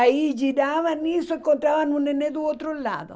Aí giravam isso e encontravam um neném do outro lado.